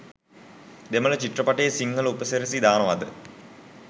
දෙමල චිත්‍රපටියේ සිංහල උපසි‍රැසි දානවද?